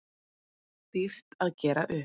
Dýrt að gera upp